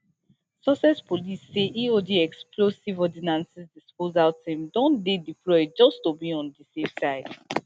sussex police say eod explosive ordnance disposal team don dey deployed just to be on di safe side